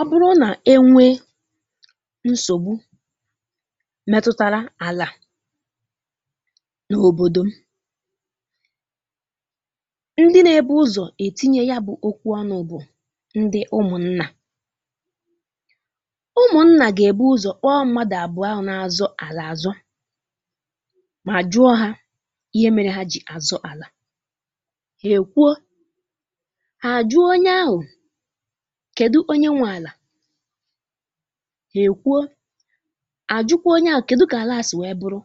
Ọ bụrụ na enwe nsogbu metụtara ala n'obodo m, ndị na-ebu ụzọ etinye a bụ okwu ọnụ bụ ndị ụmụnna. Ụmụnna ga-ebu ụzọ kpọọ mmadụ abụọ ahụ na-azọ ala azọ ma jụọ ha ihe mere ha ji azọ ala. Ha e kwuo. Ha a jụọ onye ahụ kedụ onye nwe ala. Ha e kwuo. Ha ajụkwa onye ahụ kedụ ka ala a si wee bụrụ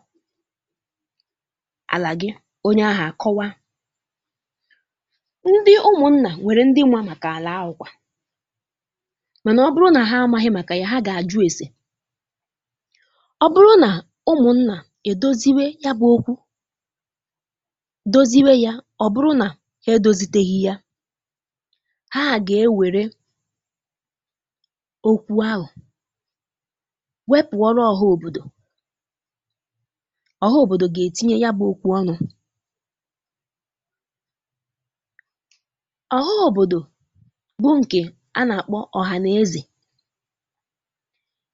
ala gị. Onye ahụ a kọwaa. Ndị ụmụnna nwere ndị ma maka ala ahụ kwa mana ọ bụrụ na ha amaghị maka ya, ha ga-ajụ ese. Ọ bụrụ na ụmụnna e doziwe yabụ okwu doziwe ya ọ bụrụna ha edoziteghi ya, ha ga-ewere okwu ahụ wepụ́ọrọ ọha obodo. Ọha obodo ga-etinye yabụ okwu ọnụ. Ọha obodo bụ nke a na-akpọ ọha na eze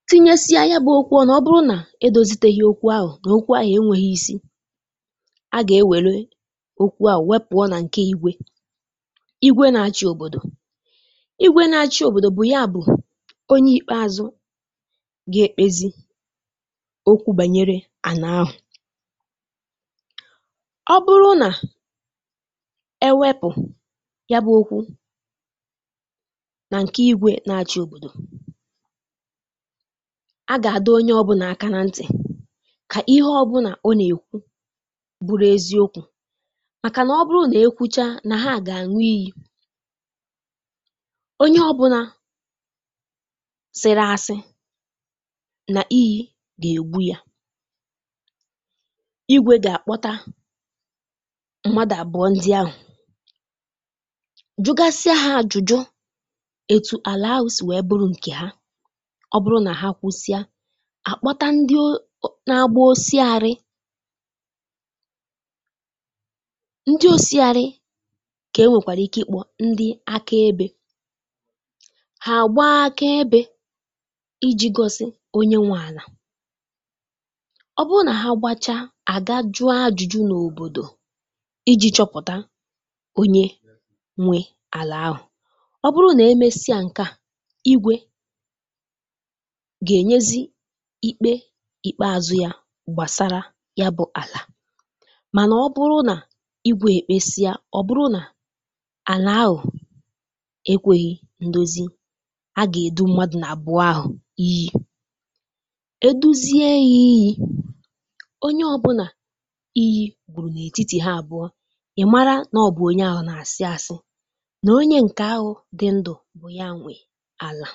tinyesie yabụ okwu ọnụ ọ bụrụ na edoziteghi okwu ahụ na okwu ahụ enweghị isi, a ga-ewere okwu ahụ wepụọ na nke ígwe. Ígwe na-achị obodo. Ígwe na-achị obodo bụ ya bụ pnye ikpeazụ ga-ekpezi ikpe banyere ana ahụ. Ọ bụrụ na e wepụ yabụ okwu na nke ígwe na-achị obodo, a ga-adọ onye ọbụla aka ná ntị ka ihe ọbụla ọ na-ekwu bụrụ eziokwu makana ọ bụrụ na e kwuchaa ha ga-aṅụ iyi. Onye ọbụla sịrị asị, na iyi ga-egbu ya. Igwe ga-akpọta mmadụ abụọ ndị ahụ jụgasịa ha ajụjụ etu ala ahụ siri bụrụ nke ha. Ọ bụrụ na ha kwusịa, a kpọta ndị o na-agba osiarị. Ndị osiarị ka e nwekwara ike ịkpọ ndị akaebe. Ha agbaa akaebe iji gosi onye nwe ala. Ọ bụrụ na ha gbachaa, a ga jụọ ajụjụ n'obodo iji chọpụta onye nwe ala ahụ. Ọ bụrụ na e mesịa nke a, igwe ga-enyezị ikpe ikpeazụ ya gbasara yabụ ala mana ọ bụrụ na igwe e mesịa ọ bụrụ na ala ahụ ekweghi ndozi, a ga-edu mmadụ abụọ ahụ iyi. E duzie ha iyi, onye ọbụla iyi gburu n'etiti ha abụọ, ị mara na onye ahụ na-asị asị na onye nke ahụ dị ndụ bụ ya nwe ala.